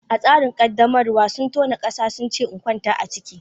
A tsarin qaddamarwa, sun tona ƙasa suka ce in kwanta a ciki.